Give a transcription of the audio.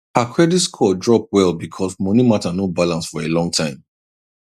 her credit score drop well because money matter no balance for a long time